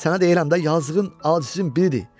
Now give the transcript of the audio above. Sənə deyirəm də yazığın azizin biridir.